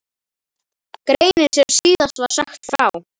Greinin sem síðast var sagt frá